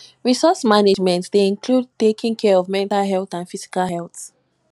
resource management dey include taking care of my mental and physical health